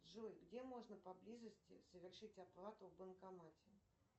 джой где можно поблизости совершить оплату в банкомате